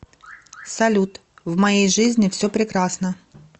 салют в моей жизни все прекрасно